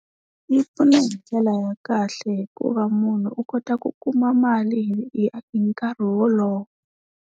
Yi pfuna hi ndlela ya kahle hikuva munhu u kota ku kuma mali hi hi nkarhi wolowo.